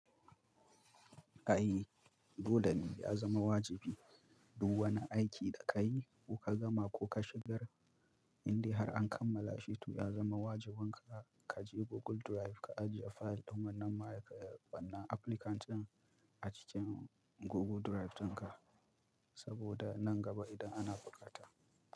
Ai, dole ne ya zama wajibi duk wani aiki da ka yi ko ka gama ko ka shigar, indai har an kammala shi to ya zama wajiban ka, ka je Google Drive ka ajiye fayil domin nan mara ƙayyade wannan applicant ɗin a cikin Google Drive ɗinka, saboda nan gaba idan ana buƙata.